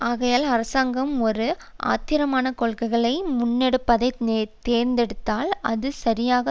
ஆகையால் அரசாங்கம் ஒரு காத்திரமான கொள்கையை முன்னெடுப்பதை தேர்ந்தெடுத்தால் அது சரியாக